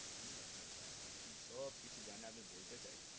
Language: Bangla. জানি আপনার কাজ টা আপনি সব কিছু জানেন আপনি বলতে চাইছেন না.